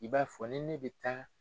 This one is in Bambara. I b'a fɔ ni ne bɛ taa